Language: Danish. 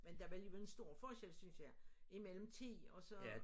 Men der var alligevel en stor forskel synes jeg imellem 10 og så